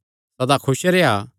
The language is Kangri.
सदा खुस रेह्आ